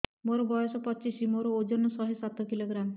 ମୋର ବୟସ ପଚିଶି ମୋର ଓଜନ ଶହେ ସାତ କିଲୋଗ୍ରାମ